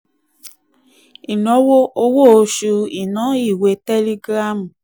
ìnáwó: owó oṣù iná ìwé tẹ́lígírámù.